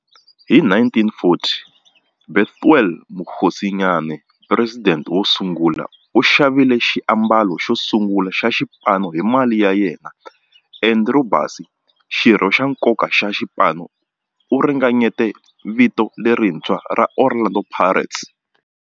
Hi 1940, Bethuel Mokgosinyane, president wosungula, u xavile xiambalo xosungula xa xipano hi mali ya yena. Andrew Bassie, xirho xa nkoka xa xipano, u ringanyete vito lerintshwa ra 'Orlando Pirates'.